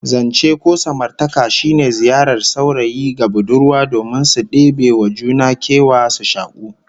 Zance ko samartaka shine ziyarar saurayi ga budurwa domin su debe wa juna kewa, su shaku